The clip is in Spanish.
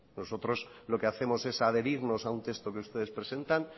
nosotros lo que hacemos es adherirnos a un texto que ustedes presentan